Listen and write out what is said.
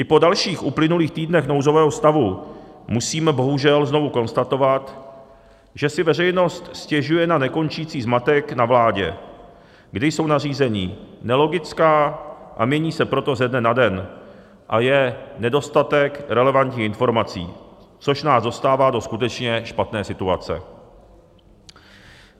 I po dalších uplynulých týdnech nouzového stavu musíme bohužel znovu konstatovat, že si veřejnost stěžuje na nekončící zmatek na vládě, kdy jsou nařízení nelogická, a mění se proto ze dne na den a je nedostatek relevantních informací, což nás dostává do skutečně špatné situace.